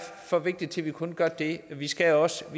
for vigtigt til at vi kun gør det vi skal også